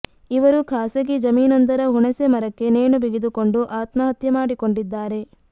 ಇವರು ಖಾಸಗಿ ಜಮೀನೊಂದರ ಹುಣಸೆ ಮರಕ್ಕೆ ನೇಣು ಬಿಗಿದುಕೊಂಡು ಆತ್ಮಹತ್ಯೆ ಮಾಡಿಕೊಂಡಿದ್ದಾರೆ